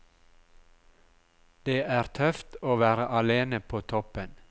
Det er tøft å være alene på toppen.